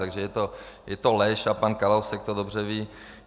Takže je to lež a pan Kalousek to dobře ví.